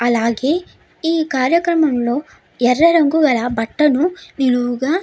అలాగే ఈ కార్యక్రమంలో ఎర్ర రంగు గల బట్టలు నిలువుగా --